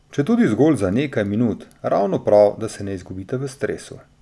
Četudi zgolj za nekaj minut, ravno prav, da se ne izgubite v stresu.